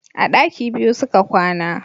A daki biyu su ka kwana.